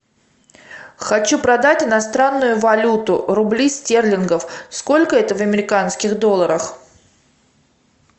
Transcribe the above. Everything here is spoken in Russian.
хочу продать иностранную валюту рубли стерлингов сколько это в американских долларах